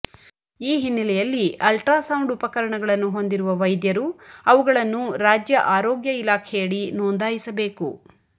ಈ ಹಿನ್ನೆಲೆಯಲ್ಲಿ ultra sound ಉಪಕರಣಗಳನ್ನು ಹೊಂದಿರುವ ವೈದ್ಯರು ಅವುಗಳನ್ನು ರಾಜ್ಯ ಆರೋಗ್ಯ ಇಲಾಖೆಯಡಿ ನೋಂದಾಯಿಸಬೇಕು